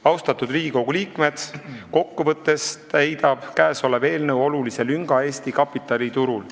Austatud Riigikogu liikmed, kokku võttes täidab käesolev eelnõu olulise lünga Eesti kapitaliturul.